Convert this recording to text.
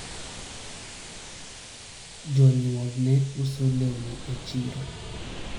jonyuol ne uso lewni e chiro